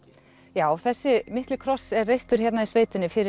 já þessi mikli kross er reistur hérna í sveitinni fyrir